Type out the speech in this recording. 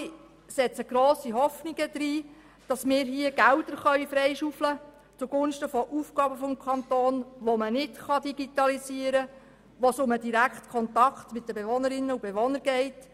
Wir alle setzen grosse Hoffnungen darin, dass man Mittel zugunsten von Aufgaben des Kantons freischaufeln kann, die sich nicht digitalisieren lassen und bei denen es etwa um den direkten Kontakt mit Bewohnerinnen und Bewohnern geht.